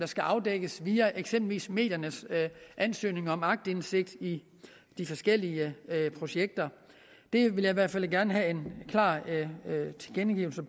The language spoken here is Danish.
skal afdækkes via eksempelvis mediernes ansøgninger om aktindsigt i de forskellige projekter jeg vil i hvert fald gerne have en klar tilkendegivelse